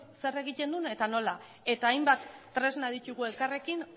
zer egiten duen eta nola eta hainbat tresna ditugu elkarrekin